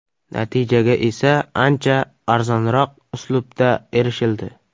Natijaga esa ancha arzonroq uslubda erishildi.